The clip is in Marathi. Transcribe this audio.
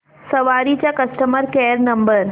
सवारी चा कस्टमर केअर नंबर